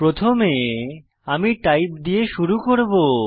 প্রথমে আমি টাইপ দিয়ে শুরু করব